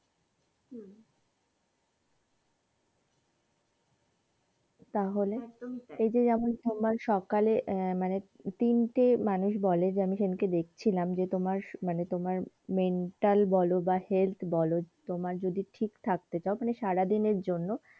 তাহলে? একদমই তাই এই যে যেমন সোমবার সকালে আহ মানে তিনটে মানুষ বলে যে আমি সেইদিনকে দেকছিলাম যে তোমার মানে তোমার mental বোলো বা health বলো তোমার ঠিক রাখতে চাও মানে সারাদিন এর জন্যে,